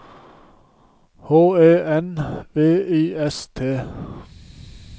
H E N V I S T